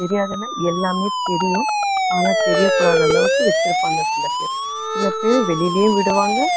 தெரியாதுன்னா எல்லாமே தெரியும், ஆனா தெரியக்கூடாத அளவுக்கு வச்சுருப்பாங்க சில பேர். சில பேர் வெளியிலேயும் விடுவாங்க.